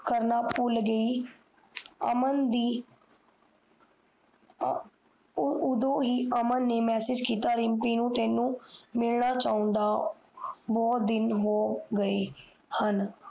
ਕਰਨਾ ਪੁਲ ਗਯੀ ਅਮਨ ਦੀ ਉਦੋਂ ਹੀ ਅਮਨ ਨੇ ਮੈਸਜ ਕੀਤਾ ਰਿਮਪੀ ਨੂੰ ਕਿ ਤੀਨੋ ਮਿਲਣਾ ਚੋਂਦਾ ਬਹੁਤ ਦਿਨ ਹੋ ਗਏ ਹਨ